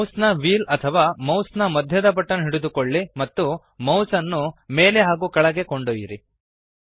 ಮೌಸ್ನ ವ್ಹೀಲ್ ಅಥವಾ ಮೌಸ್ ನ ಮಧ್ಯದ ಬಟನ್ ಹಿಡಿದುಕೊಳ್ಳಿ ಮತ್ತು ಮೌಸ್ಅನ್ನು ಮೇಲೆ ಹಾಗೂ ಕೆಳಗೆ ಕೊಂಡೊಯ್ಯಿರಿ